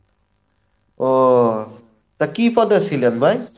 ওহ, তো কী পদে ছিলেন ভাই?